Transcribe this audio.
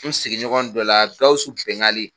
N sigiɲɔgɔn dɔ la Gawusu Bɛngali